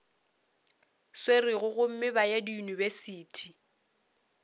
swerego gomme ba ye diyunibesithi